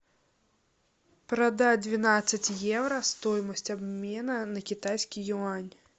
продать двенадцать евро стоимость обмена на китайский юань